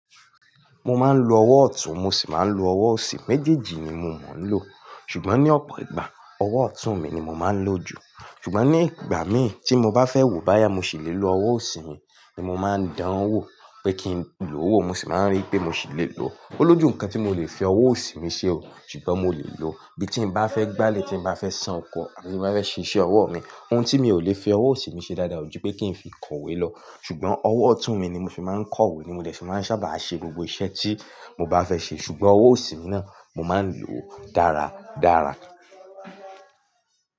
Mo máa ń lo ọwọ́ ọ̀tún, mo sì máa ń lo ọwọ́ òsì, méjèèjì ni mo ma ń lò. Ṣùgbọ́n ní ọ̀pọ̀ ìgbà, ọwọ́ ọ̀tún mi ni mo máa ń lò jù. Ṣùgbọ́n ní ìgbà mí ì tí mo bá fẹ́ wò bá yà mo sì lè lo ọwọ́ òsì mi, ni mo máa ń dán wò pé kí n lo wo, mo sì máa rí pé mo sì lè lo ọ. Ó lójú nǹkan tí mo lè fi ọwọ́ òsì mi ṣe o, ṣùgbọ́n mo lè lo ọ. Bi tí mo bá fẹ́ gbálẹ̀, tí mo bá fẹ́ ṣan ọkọ̀, àti tí mo bá fẹ́ ṣe iṣẹ́ ọwọ́ mi, ohun tí mi ò lè fi ọwọ́ òsì mi ṣe dáadáa ò ju pé kí n fi kọ̀wé lọ. Ṣùgbọ́n ọwọ́ ọ̀tún mi ni mo fi máa ń kọ̀wé, ni mo dẹ̀ fí máa ń sábà ṣe gbogbo iṣẹ́ tí mo bá fẹ́ ṣe. Ṣùgbọ́n ọwọ́ òsì mi náà mo máa ń lò dára dára.